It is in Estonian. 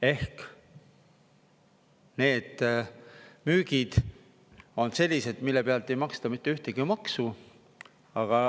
Ehk need müügid on sellised, mille pealt ei maksta mitte ühtegi maksu.